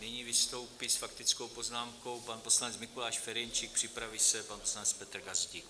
Nyní vystoupí s faktickou poznámkou pan poslanec Mikuláš Ferjenčík, připraví se pan poslanec Petr Gazdík.